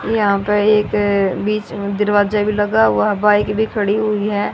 यहां पे एक बीच में दरवाजा भी लगा हुआ है बाइक भी खड़ी हुई है।